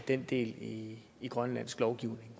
den del i i grønlandsk lovgivning